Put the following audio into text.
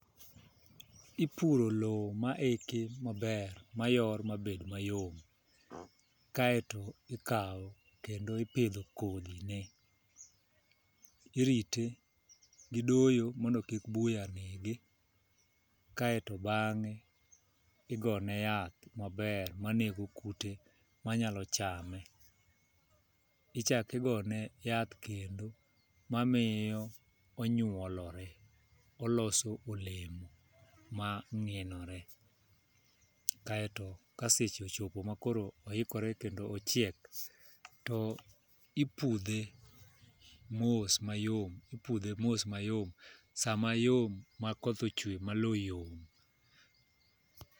Ipuro lo ma iki maber ma yor ma bed mayom, kaeto ikawo kendo ipidho kodhi ne. Irite gi doyo mondo kik buya nege, kaeto bang'e igo ne yath maber ma nego kute ma nyalo chame. Ichaki gone yath kendo ma miyo onyuolore, oloso olemo ma ng'inore. Kaeto ka seche ochopo ma koro oikore kendo ochiek, to ipudhe mos mayom. Ipudhe mos ma yom, sama yom ma koth ochwe ma lo yom.